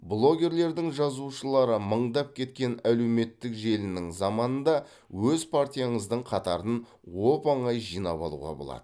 блогерлердің жазылушылары мыңдап кеткен әлеуметтік желінің заманында өз партияңыздың қатарын оп оңай жинап алуға болады